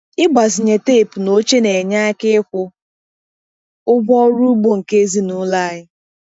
Ịgbazinye teepu na oche na-enye aka n'ikwụ ụgwọ ọrụ ugbo nke ezinụlọ anyị.